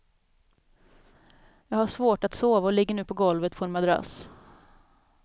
Jag har svårt att sova och ligger nu på golvet på en madrass.